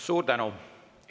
Suur tänu!